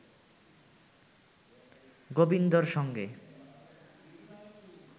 গোবিন্দর সঙ্গে